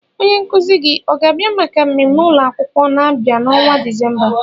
Onye nkuzi gị ọ ga-abịa maka mmemme ụlọ akwụkwọ na-abịa n'ọnwa Disemba?